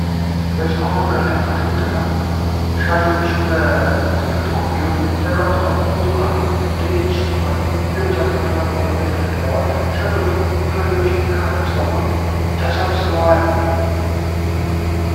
በጭቃማ መንገድ ላይ አትክልት ሻጮች በትላልቅ ኮፍያዎች ተቀምጠዋል። ብዙ ካሮቶች፣ ድንች፣ ቲማቲሞች እና ሌሎች አትክልቶች መሬት ላይ ተደርድረዋል። ሻጮችና ገዢዎች ከህንጻው ጎን ተሰብስበዋል።